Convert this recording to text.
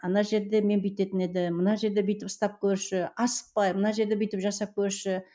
ана жерде мен бүйтетін едім мына жерде бүйтіп ұстап көрші асықпай мына жерде бүйтіп жасап көрші